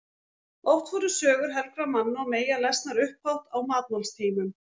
Oft voru sögur helgra manna og meyja lesnar upphátt á matmálstímum.